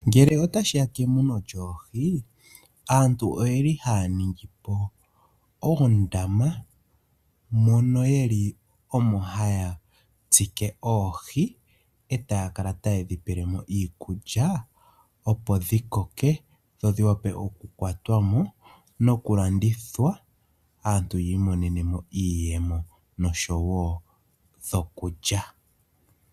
Ngele otashiya kemuno lyoohi, aantu oyeli haya ningi po uundama mono yeli omo haya tsike oohi, e taya kala tayedhi pelemo iikulya opo dhi koke, dho dhi wape oku kwatwamo noku landithwa, aantu yiimonene mo iiyemo noshowo dhokulya.